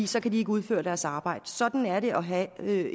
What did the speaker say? så kan de ikke udføre deres arbejde sådan er det at have